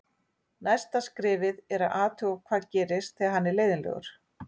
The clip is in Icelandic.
Næsta skrefið er að athuga hvað gerist þegar hann er leiðinlegur.